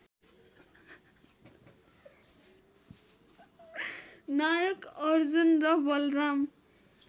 नायक अर्जुन र बलराम